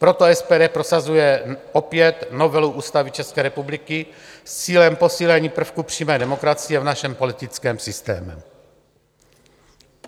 Proto SPD prosazuje opět novelu Ústavy České republiky s cílem posílení prvků přímé demokracie v našem politickém systému.